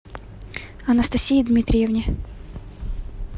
анастасии дмитриевне